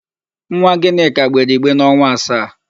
Nwa Gịnịka gbere igbe n'ọnwa asaa.